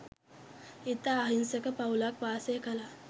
ඉතා අහිංසක පවුලක් වාසය කළා.